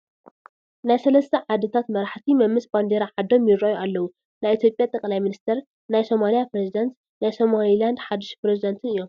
ናይ 3 ዓድታት መራሕቲ መምስ ባንዴራ ዓዶም ይራኣዩ ኣለው፡፡ ናይ ኢ/ያ ጠ/ሚኒስቴር ፣ ናይ ሶማልያ ኘሬዚዳንት ፣ ናይ ሶማሊላንድ ሓዱሽ ኘሬዚዳንትን እዮም፡፡